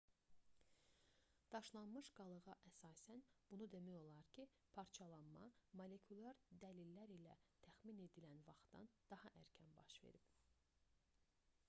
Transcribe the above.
daşlaşmış qalığa əsasən bunu demək olar ki parçalanma molekulyar dəlillər ilə təxmin edilən vaxtdan daha erkən baş verib